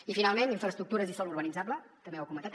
i finalment infraestructures i sòl urbanitzable també ho ha comentat